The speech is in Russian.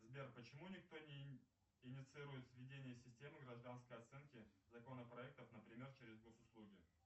сбер почему никто не инициирует введение системы гражданской оценки законопроектов например через госуслуги